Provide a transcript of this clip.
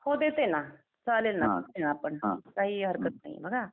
हो देते ना चालेल ना काही हरकत नाही बघा.